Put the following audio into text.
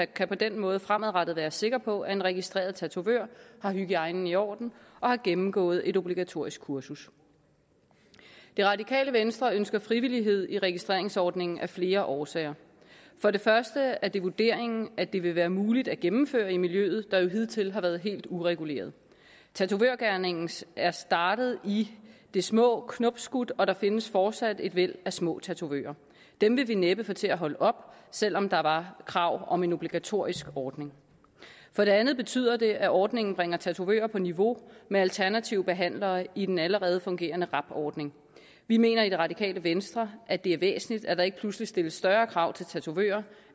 kan på den måde fremadrettet være sikre på at en registreret tatovør har hygiejnen i orden og har gennemgået et obligatorisk kursus det radikale venstre ønsker frivillighed i registreringsordningen af flere årsager for det første er det vurderingen at det vil være muligt at gennemføre i miljøet der jo hidtil har været helt ureguleret tatovørgerningen er startet i det små er knopskudt og der findes fortsat et væld af små tatovører dem ville vi næppe få til at holde op selv om der var krav om en obligatorisk ordning for det andet betyder det at ordningen bringer tatovører på niveau med alternative behandlere i den allerede fungerende rab ordning vi mener i det radikale venstre at det er væsentligt at der ikke pludselig stilles større krav til tatovører